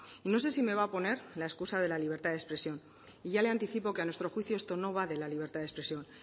y no sé si me va a poner la excusa de la libertad de expresión y ya le anticipo que a nuestro juicio esto no va de la libertad de expresión